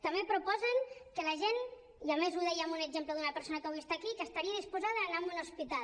també proposen que la gent i a més ho deia amb un exemple d’una persona que avui està aquí estaria disposada a anar a un hospital